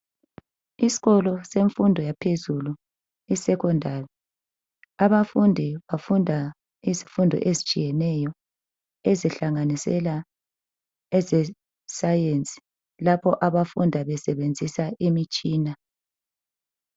Isikolo semfundo yaphezulu iSecondary, abafundi bafunda izifundo ezitshiyeneyo ezihlanganisela ezescience .Lapho abafunda besebenzisa imitshina.